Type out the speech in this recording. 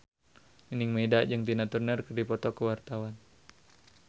Nining Meida jeung Tina Turner keur dipoto ku wartawan